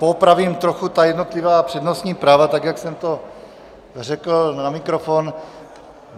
Poopravím trochu ta jednotlivá přednostní práva tak, jak jsem to řekl na mikrofon.